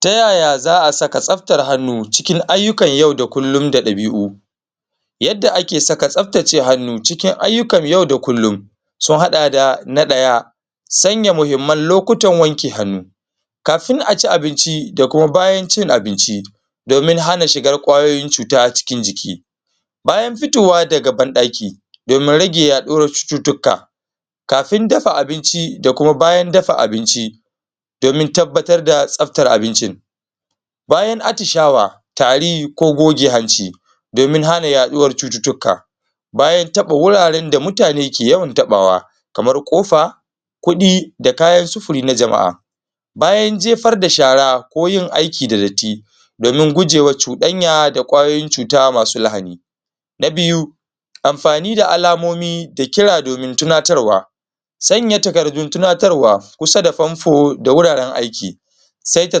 Ta yaya za a saka tsaftar hannu cikin ayyukan yau da kullum da ɗabi'u? yadda ake saka tsaftace hannu cikin ayyukan yau da kullum sun haɗa da na ɗaya, sanya muhimman lokutan wanke kafin a ci abinci da kuma bayan cin abinci domin hana shigar kwayoyin cuta cikin jiki, bayan fitowa daga banɗaki domin rage yaɗuwar cututtuka, kafin dafa abinci da kuma bayan dafa abinci domin tabbatar da tsaftar abincin, bayan atishawa, tari ko goge hanci don hana yaɗuwar cututtuka, bayan taɓa wuraren da mutane ke yawan taɓawa kamar ƙofa kuɗi da kayan sufuri na jama'a, bayan jefar da shara ko yin aiki da datti domin gujewa cuɗanya da kwayoyin cuta masu lahani. Na biyu amfani da alamoni da kira domin tunatarwa sanya takardun tunatarwa kusa da fanfo da wuraren aiki saita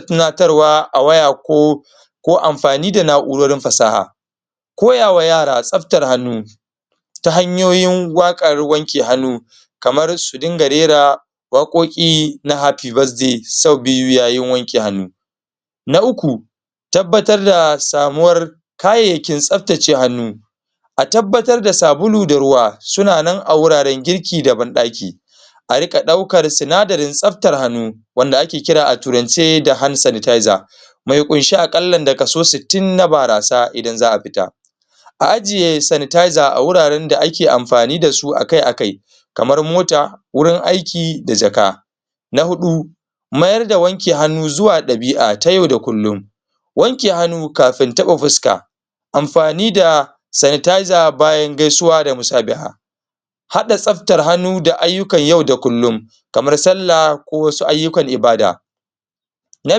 tunatarwa a waya ko ko amfani da na'urorin fasaha, koyawa yara tsaftar hannu ta hanyoyin waƙar wanka hannu kamar su dinga rere waƙoƙi na happy bithrday sau biyu yayin wanke hannu. Na uku tabbatar da samuwar kayayyakin tsaftace hannu a tabbatar da sabulu da ruwa suna nan a wuraren girki da banɗaki a riƙa ɗaukar sinadarin tsaftar hannu wanda ake kira a turance da hand sanatizer mai ƙunshe a ƙalla da kaso sittin na barasa idan za a fita, a ajiye sanatizer a wuraren da ake amfani da su akai akai kamar mota wurin aiki da jaka. Na huɗu mayar da wanke hannu zuwa ɗabi'a ta yau da kullum wanke hannu kafin taɓa fuska amfani da sanatizer bayan gaisuwa da musabaha haɗa tsaftar hannu da ayyukan yau da kullum kamar sallah ko wasu ayyukan ibada. Na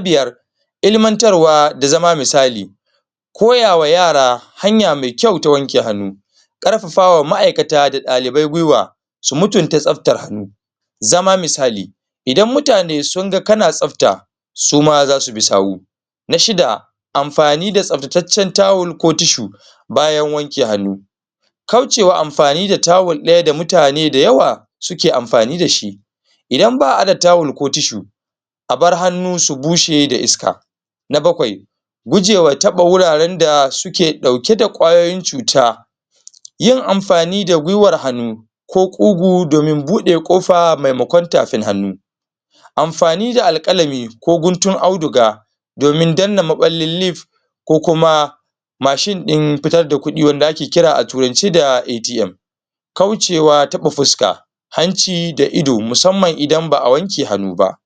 biyar ilimantarwa da zama misali koya wa yara hanya mai kyau ta wanke hannu ƙarfafa ma'aikata da ɗalibai guiwa su mutunta tsaftar hannu zama misali idan mutane sun ga kana tsafta suma za su bi sawu Na shida amfani da tsaftataccen tawul ko tishu bayan wanke hannu kaucewa amfani da tawul ɗaya ga mutane da yawa suke amfani da shi idan ba a da tawul ko tishu a bar hannu su bushe da iska. Na bakwai gujewa taɓa wuraren da suke ɗauke da kwayoyin cuta yin amfani da guiwar hannu ko ƙugu domin buɗe ƙofa maimakon tafin hannu amfani da alƙalami ko guntun auduga domin danna maɓallin lif ko kuma mashin ɗin fitar da kuɗi wanda ake kira a turance da ATM kaucewa taɓa fuska, hanci da ido musamman idan ba a wanke hannu ba